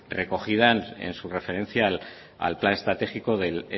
recogida en su referencia al plan estratégico del